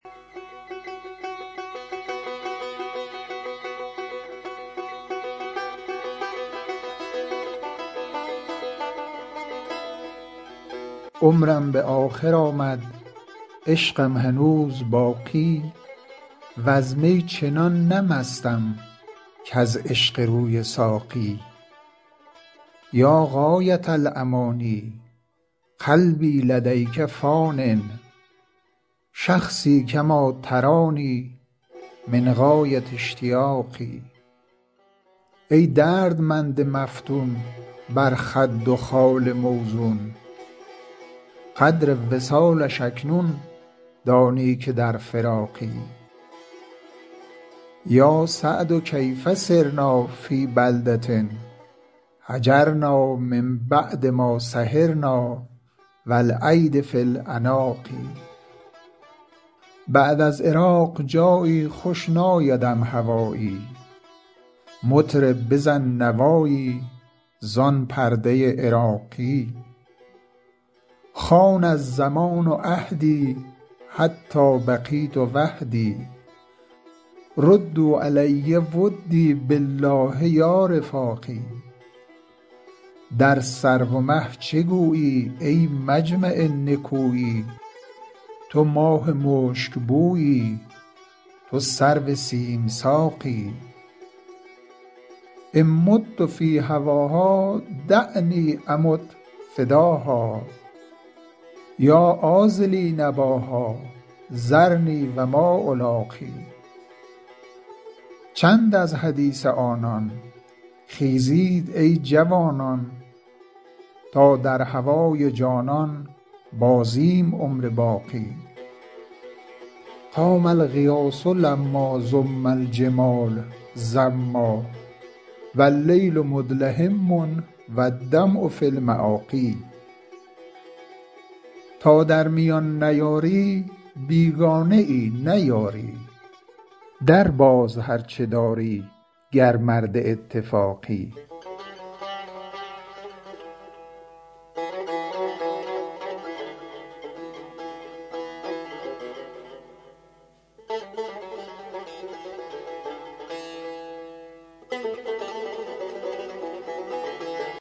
عمرم به آخر آمد عشقم هنوز باقی وز می چنان نه مستم کز عشق روی ساقی یا غایة الأمانی قلبی لدیک فانی شخصی کما ترانی من غایة اشتیاقی ای دردمند مفتون بر خد و خال موزون قدر وصالش اکنون دانی که در فراقی یا سعد کیف صرنا فی بلدة هجرنا من بعد ما سهرنا و الایدی فی العناق بعد از عراق جایی خوش نایدم هوایی مطرب بزن نوایی زان پرده عراقی خان الزمان عهدی حتی بقیت وحدی ردوا علی ودی بالله یا رفاقی در سرو و مه چه گویی ای مجمع نکویی تو ماه مشکبویی تو سرو سیم ساقی ان مت فی هواها دعنی امت فداها یا عاذلی نباها ذرنی و ما الاقی چند از حدیث آنان خیزید ای جوانان تا در هوای جانان بازیم عمر باقی قام الغیاث لما زم الجمال زما و اللیل مدلهما و الدمع فی المآقی تا در میان نیاری بیگانه ای نه یاری درباز هر چه داری گر مرد اتفاقی